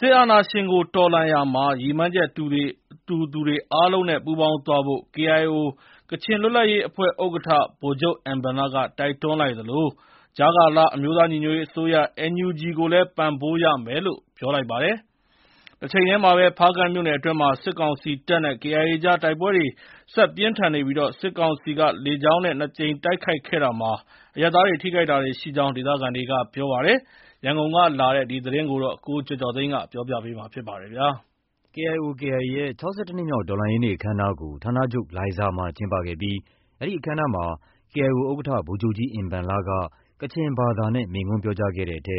စစ်အာဏာရှင်ကို တော်လှန်ရာမှာ ရည်မှန်းချက်တူသူတွေ အားလုံးနဲ့ ပူးပေါင်းသွားဖို့ KIO ကချင်လွတ်လပ်ရေးအဖွဲ့ ဥက္ကဋ္ဌ ဗိုလ်ချုပ်ကြီးအင်ဘန်လက တိုက်တွန်းလိုက်သလို ကြားကာလ အမျိုးသားညီညွတ်ရေးအစိုးရ NUG ကိုလည်း ပံ့ပိုးရမယ်လို့ ပြောပါတယ်။ တချိန်တည်းမှာတော့ ဖားကန့်မြို့နယ်အတွင်းမှာ စစ်ကောင်စီတပ်နဲ့ KIA အကြား တိုက်ပွဲတွေ ဆက်ပြင်းထန်နေပြီး စစ်ကောင်စီက လေကြောင်းက နှစ်ကြိမ်တိုက်ခိုက်ခဲ့တာမှာ အရပ်သားထိခိုက်တာတွေ ရှိကြောင်း ဒေသခံတွေက ပြောပါတယ်။ ရန်ကုန်ကလာတဲ့ ဒီသတင်းကို ကိုကျော်ကျော်သိန်း ပြောပြပါမယ်။ KIO/KIA ရဲ့ ၆၁ နှစ်မြောက် တော်လှန်ရေးနေ့ အခမ်းအနားကို ဌာနချုပ် လိုင်ဇာမှာ ကျင်းပခဲ့ပြီး အဲဒီအခမ်းအနားမှာ KIO ဥက္ကဋ္ဌ ဗိုလ်ချုပ်ကြီးအင်ဘန်လက ကချင်ဘာသာနဲ့ မိန့်ခွန်းပြောကြားခဲ့တဲ့အထဲ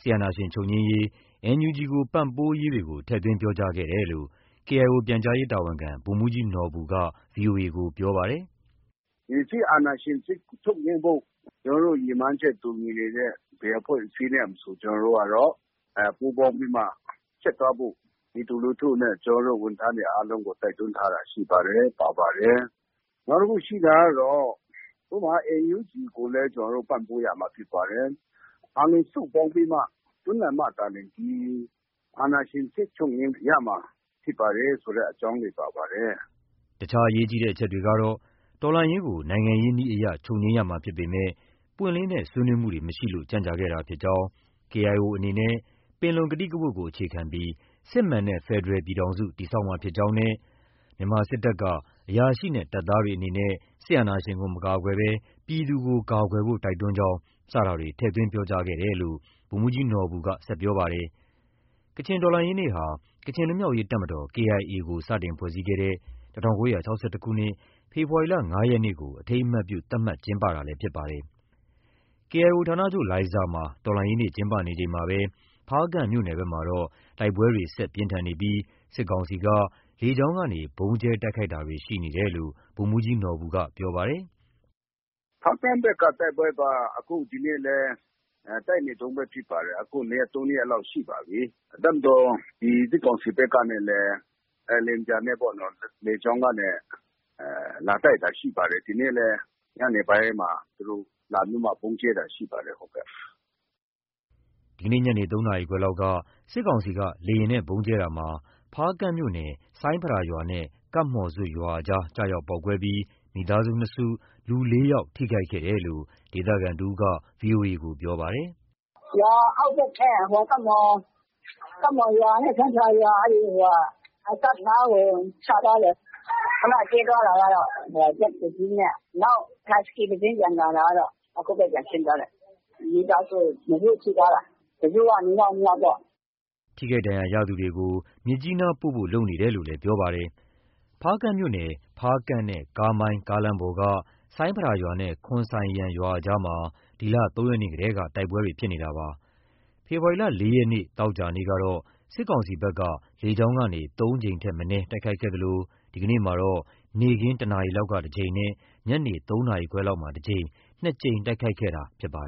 စစ်အာဏာရှင် ချုပ်ငြိမ်းရေး၊ NUG ကို ပံ့ပိုးရေးတွေကို ထည့်သွင်းပြောကြားခဲ့တယ်လို့ KIO ပြန်ကြားရေးတာဝန်ခံ ဗိုလ်မှူးကြီးနော်ဘူက ဗွီအိုအေကို ပြောပါတယ်။ “ဒီစစ်အာဏာရှင်ချုပ်ငြိမ်းဖို့ ကျနော်တို့ ရည်မှန်းချက် တူညီနေတဲ့ ဘယ်အဖွဲ့အစည်းနဲ့မဆို ပူးပေါင်းပြီးမှ ဆက်သွားဖို့ ပြည်သူလူထုနဲ့ ဝန်ထမ်းတွေ အားလုံးကို တိုက်တွန်းထားတာ ရှိပါတယ်။ ပါပါတယ်။ နောက်တခုရှိတာက NUG ကိုလည်း ကျနော်တို့ ပံ့ပိုးရမှာ ဖြစ်ပါတယ်။ အားလုံးစုပေါင်းပြီးမှ တွန်းလှန်မှသာလျှင် ဒီ အာဏာရှင်စနစ်ကို ချုပ်ငြိမ်းရမှာ ဖြစ်ပါတယ်ဆိုတဲ့ အကြောင်းတွေ ပါပါတယ်။” တခြား အရေးကြီးတဲ့ အချက်တွေကတော့ တော်လှန်ရေးကို နိုင်ငံရေးနည်းအရ ချုပ်ငြိမ်းရမှာဖြစ်ပေမယ့် ပွင့်လင်းတဲ့ ဆွေးနွေးမှုတွေ မရှိလို့ ကြန့်ကြာခဲ့တာဖြစ်ကြောင်း၊ KIO အနေနဲ့ ပင်လုံကတိကဝတ်ကို အခြေခံပြီး စစ်မှန်တဲ့ ဖက်ဒရယ်ပြည်ထောင်စု တည်ဆောက်မှာ ဖြစ်ကြောင်းနဲ့ မြန်မာစစ်တပ်က အရာရှိနဲ့ တပ်သားတွေအနေနဲ့ စစ်အာဏာရှင်ကို မကာကွယ်ဘဲ ပြည်သူကိုကာကွယ်ဖို့ တိုက်တွန်းကြောင်း စတာတွေ ထည့်သွင်းပြောကြားခဲ့တယ်လို့ ဗိုလ်မှူးကြီးနော်ဘူက ဆက်ပြောပါတယ်။ ကချင်တော်လှန်ရေးနေ့ဟာ ကချင်လွတ်မြောက်ရေးတပ်မတော် KIA ကို စတင်ဖွဲ့စည်းခဲ့တဲ့ ၁၉၆၁ ခုနှစ် ဖေဖော်ဝါရီလ ၅ ရက်နေ့ကို အထိမ်းအမှတ်ပြု သတ်မှတ်ကျင်းပတာလည်း ဖြစ်ပါတယ်။ KIO ဌာနချုပ် လိုင်ဇာမှာ တော်လှန်ရေးနေ့ ကျင်းပနေချိန်မှာပဲ ဖားကန့်မြို့နယ်ဘက်မှာတော့ တိုက်ပွဲတွေ ဆက်လက်ပြင်းထန်နေပြီး စစ်ကောင်စီက လေကြောင်းက ဗုံးကြဲတိုက်ခိုက်တာတွေ ရှိနေကြောင်း ဗိုလ်မှူးကြီးနော်ဘူက ပြောပါတယ်။ “ဖားကန့်ဘက်က တိုက်ပွဲက ဒီနေ့လည်း တိုက်နေတုန်းပဲ ဖြစ်ပါတယ်။ အခု ၂ ရက်၊ ၃ ရက်လောက် ရှိပါပြီ။ တပ်မတော် ဒီ စစ်ကောင်စီဘက်ကနေလည်း လေယာဉ်ပျံနဲ့ပေ့ါနော်။ လေကြောင်းကနေ လာတိုက်တာ ရှိပါတယ်။ ဒီနေ့လည်း ညနေပိုင်းမှာ သူတို့လာပြီးမှ ဗုံးကြဲတာရှိပါတယ်။” ဒီကနေ့ညနေ ၃ နာရီခွဲလောက်က စစ်ကောင်စီက လေယာဉ်နဲ့ ဗုံးကြဲရာမှာ ဖားကန့်မြို့နယ် ဆိုင်းဖရာရွာနဲ့ ကပ်မှော်ဇွပ်ရွာအကြား ကျရောက်ပေါက်ကွဲပြီး မိသားစု နှစ်စု၊ လူလေးယောက် ထိခိုက်ခဲ့ကြောင်း ဒေသခံတဦးက ဗွီအိုအေကို ပြောပါတယ်။ “ရွာအောက်ဘက်ထဲဟို ကပ်မှော်ရွာနဲ့ ဆိုင်းဖရာရွာ အစပ်နားကို ချသွားတယ်။ ခုန ကြဲသွားတာတော့ ဂျက်တစီးနဲ့ နောက် ဟတ်စကီးတစီး ပြန်လာတာကတော့ အခုပဲ ပြန်ဆင်းသွားတယ်။ မိသားစုနှစ်စု ထိသွားတာ။ တစုက နှစ်ယောက်၊ နှစ်ယောက်ပေါ့။” ထိခိုက်ဒဏ်ရာရသူတွေကို မြစ်ကြီးနားပို့ဆောင်ဖို့ လုပ်နေကြောင်း ပြောပါတယ်။ ဖားကန့်မြို့နယ် ဖားကန့်နဲ့ ကားမိုင်းကားလမ်းပေါ်က ဆိုင်းဖရာရွာနဲ့ ခွန်ဆိုင်ယန်ရွာ အကြားမှာ ဒီလ ၃ ရက်နေ့တည်းက တိုက်ပွဲတွေ ဖြစ်နေတာပါ။ ဖေဖော်ဝါရီလ ၄ ရက်နေ့၊ သောကြာနေ့ကတော့ စစ်ကောင်စီဘက်က လေကြောင်းကနေ သုံးကြိမ်ထက်မနည်း တိုက်ခိုက်ခဲ့သလို ဒီကနေ့မှာတော့ နေ့ခင်း ၁ နာရီလောက်က တကြိမ်နဲ့ ညနေ ၃ နာရီခွဲလောက်မှာ တကြိမ်၊ နှစ်ကြိမ်တိုက်ခိုက်ခဲ့တာ ဖြစ်ပါတယ်